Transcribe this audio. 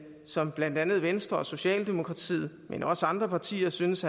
som blandt andet venstre og socialdemokratiet men også andre partier synes